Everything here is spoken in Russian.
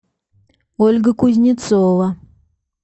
ольга кузнецова